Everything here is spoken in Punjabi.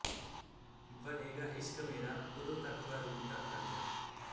ਬਣੇਗਾ ਇਸ਼ਕ ਮੇਰਾ ਓਦੋਂ ਤਕ ਬਾਰੂਦ ਦਾ ਖਾਜਾ